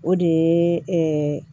O de ye